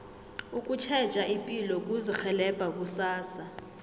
ukutjheja ipilo kuzirhelebha kusasa